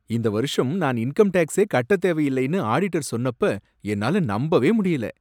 இந்த வருஷம் நான் இன்கம் டேக்ஸே கட்டத் தேவையில்லைன்னு ஆடிட்டர் சொன்னப்ப என்னால நம்பவே முடியல.